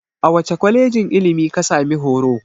A wace kwalejin ilimi ka sami horo?